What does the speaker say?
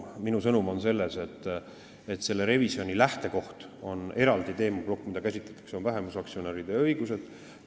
Minu sõnum on see, et selle revisjoni lähtekoht on eraldi teemaplokk, mida käsitletakse, ja see on vähemusaktsionäride õigused.